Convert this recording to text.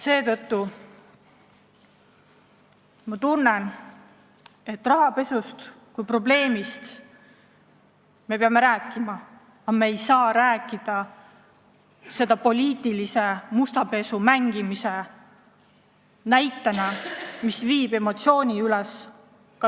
Seetõttu ma tunnen, et rahapesust kui probleemist me peame rääkima, aga me ei saa rääkida sellest poliitilise musta pesu pesemise näitena, mis viib emotsioonid üles.